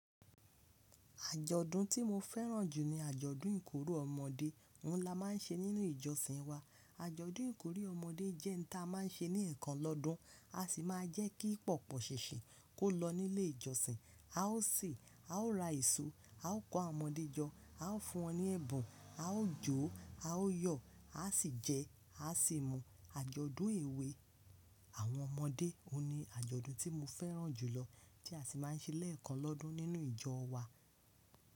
Àjọ̀dún tí mo fẹ́ràn jù ni àjọ̀dún ìkórè ọmọdé, òun la máa ń ṣe nínú ìjọsìn wa. Àjọ̀dún ìkórè ọmọdé jẹ́ nǹ táa máa ń ṣe ní ẹ̀ẹ̀kan lọ́dun, a sì máa ń jẹ́ kí pọ̀pọ̀ ṣinsin kó lọ nílé ìjọsìn, a ó si. A ó ra eso, a ó kọ àwọn ọmọdé jọ, a ó fún wọn ní ẹ̀bùn, a ó jó, a ó yọ̀, a sì jẹ, a sì mu. Àjọ̀dún èwe àwọn ọmọdé òun ni àjọ̀dún tí mo fẹ́ràn jùlọ tí a sì máa ń ṣe lẹ́ẹ̀kan lọ́dun nínú ìjọ wa.